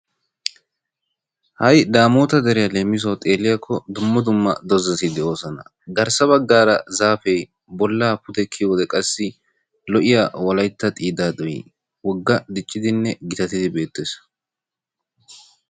Ha'i damotaa deriyaa leemisuwaawu xeelliyaako dumma dumma do"ati doosona. garssa baggaara zaapee bollaa pudde kiyiyoode qassi lo"iyaa wolaytta xiiddadoy wogga diccidinne gittattidi beettees.